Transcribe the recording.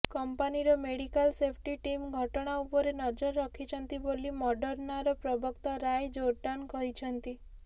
କମ୍ପାନୀର medical safety team ଘଟଣା ଉପରେ ନଜର ରଖିଛନ୍ତି ବୋଲି ମଡର୍ଣ୍ଣାର ପ୍ରବକ୍ତା ରାୟ ଜୋର୍ଡାନ କହିଛନ୍ତି